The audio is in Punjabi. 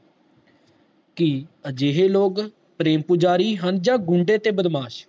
ਕਿ ਅਜਿਹੇ ਲੋਕ ਪ੍ਰੇਮ ਪੁਜਾਰੀ ਹਨ ਜਾ ਗੁੰਡੇ ਤੇ ਬਦਮਾਸ਼